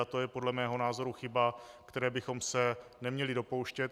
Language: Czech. A to je podle mého názoru chyba, které bychom se neměli dopouštět.